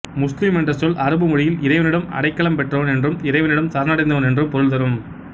முஸ்லிம் என்ற சொல் அரபு மொழியில் இறைவனிடம் அடைக்கலம் பெற்றவன் என்றும் இறைவனிடம் சரணடைந்தவன் என்றும் பொருள் தரும்